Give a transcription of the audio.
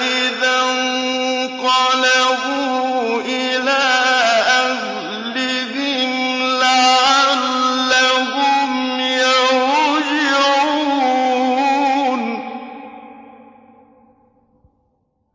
إِذَا انقَلَبُوا إِلَىٰ أَهْلِهِمْ لَعَلَّهُمْ يَرْجِعُونَ